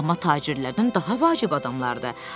Amma tacirlərdən daha vacib adamlardır.